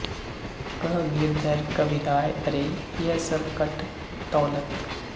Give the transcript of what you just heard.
ਕਹ ਗਿਰਧਰ ਕਵਿਰਾਯ ਅਰੇ ਯਹ ਸਬ ਘਟ ਤੌਲਤ